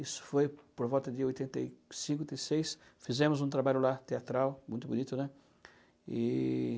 Isso foi por volta de oitenta e cinco seis, fizemos um trabalho lá teatral, muito bonito, né? E...